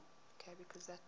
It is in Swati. uyati